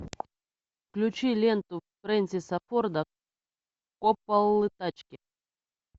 включи ленту фрэнсиса форда копполы тачки